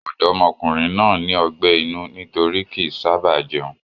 Ọ̀dọ́mọkùnrin náà ní ọgbẹ́ inú nítorí kì í sábàá jẹun.